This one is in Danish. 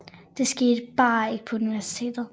Det skete bare ikke på universitetet